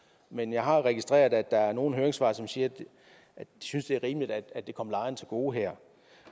men jeg har jo registreret at der er nogle høringssvar som siger at de synes det er rimeligt at det kommer lejerne til gode her